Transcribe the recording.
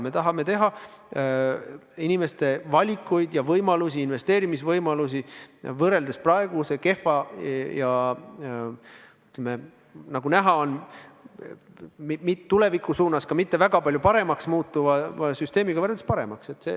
Me tahame pakkuda inimestele valikuvõimalusi, investeerimisvõimalusi, et praegust kehva ja nagu näha on, tulevikus ka mitte väga palju paremaks muutuvat süsteemi paremaks teha.